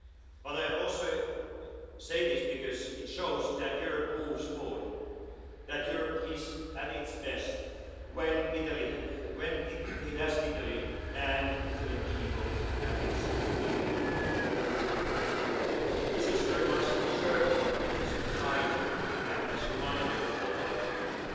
But I also say this because it shows that Europe moves forward, that Europe is at its best when it has Italy and Italian people at its beating heart. This history must serve as a guide and as a reminder for our future.